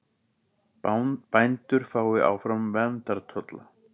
Bændur fái áfram verndartolla